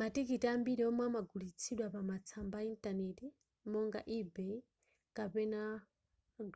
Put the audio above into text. matikiti ambiri omwe amagulitsidwa pa matsamba a intaneti monga ebay kapena